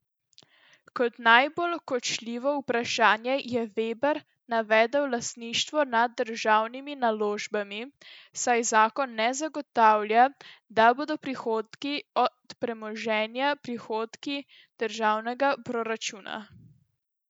Kot najbolj kočljivo vprašanje je Veber navedel lastništvo nad državnimi naložbami, saj zakon ne zagotavlja, da bodo prihodki od premoženja prihodki državnega proračuna.